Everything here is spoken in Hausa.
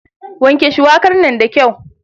Wanke shuwakar nan da kyau.